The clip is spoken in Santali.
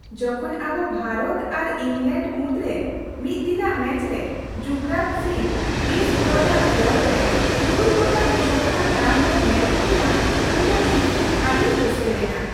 ᱡᱚᱠᱷᱚᱱ ᱟᱵᱚ ᱵᱷᱟᱨᱚᱛ ᱟᱨ ᱤᱝᱞᱮᱸᱰ ᱢᱩᱫᱽᱨᱮ ᱢᱤᱫ ᱫᱤᱱᱟᱜ ᱢᱮᱪᱨᱮ ᱡᱩᱵᱚᱨᱟᱡᱽ ᱥᱤᱝ ᱠᱨᱤᱥ ᱵᱨᱚᱰᱼᱟᱜ ᱵᱚᱞ ᱨᱮ ᱛᱩᱨᱩᱭ ᱜᱚᱴᱟᱝ ᱪᱷᱚᱠᱠᱟ ᱫᱟᱞ ᱵᱚ ᱧᱮᱧ ᱠᱮᱫᱮᱭᱟ ᱩᱱᱫᱚ ᱤᱧ ᱟᱹᱰᱤᱧ ᱨᱟᱹᱥᱠᱟᱹ ᱞᱮᱱᱟ ᱾